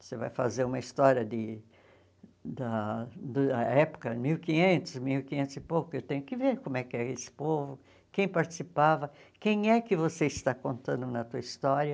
Você vai fazer uma história de da da época, mil quinhentos, mil quinhentos e pouco, eu tenho que ver como é que é esse povo, quem participava, quem é que você está contando na tua história.